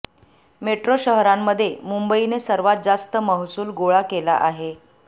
metro शहरांमध्ये मुंबईने सर्वात जास्त महसूल गोळा केला आहे